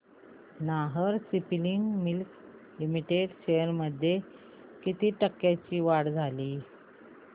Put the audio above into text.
Nahar spinning mills limited shares मध्ये किती टक्क्यांची वाढ झाली